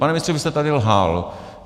Pane ministře, vy jste tady lhal.